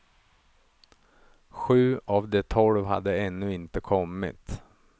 Sju av de tolv hade ännu inte kommit.